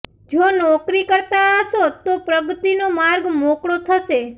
જો નોકરી કરતા હશો તો પ્રગતિનો માર્ગ મોકળો થશે